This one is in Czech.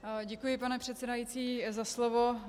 Děkuji, pane předsedající, za slovo.